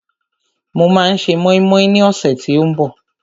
Mo máa se mọ́ínmọ́ín ní ọ̀sẹ̀ tí ó ń bọ̀